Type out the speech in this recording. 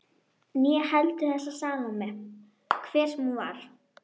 Né heldur þessa Salóme, hver sem hún var.